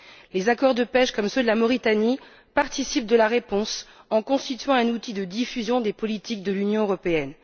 Les accords de pêche, comme ceux de la Mauritanie, participent de la réponse en constituant un outil de diffusion des politiques de l'Union européenne.